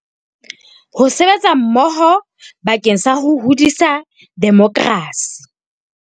Ho sebetsa mmoho bakeng sa ho hodisa demokerasi.